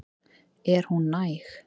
Er hún næg?